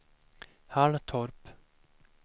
Halltorp